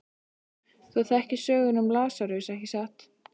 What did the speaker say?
Þú þekkir söguna um Lasarus, ekki satt?